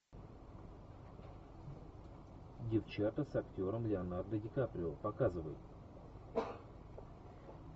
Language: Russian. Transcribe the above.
девчата с актером леонардо ди каприо показывай